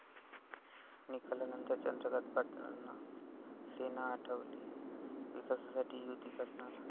निकालानंतर चंद्रकांत पाटलांना सेना आठवली, विकासासाठी युती करणार!